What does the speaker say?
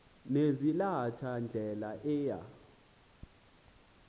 nezalatha ndlela eya